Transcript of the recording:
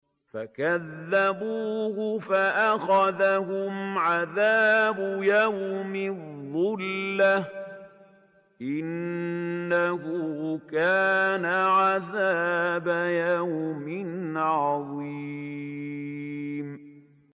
فَكَذَّبُوهُ فَأَخَذَهُمْ عَذَابُ يَوْمِ الظُّلَّةِ ۚ إِنَّهُ كَانَ عَذَابَ يَوْمٍ عَظِيمٍ